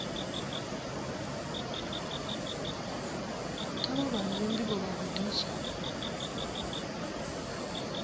kha vha vhalele ndivho vhagudiswa